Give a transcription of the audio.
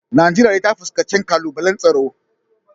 Najeriya dai ta fuskanci kalubalen tsaro